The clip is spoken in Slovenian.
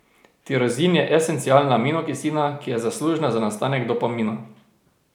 Tirozin je esencialna aminokislina, ki je zaslužna za nastanek dopamina.